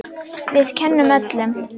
Við kennum öllum.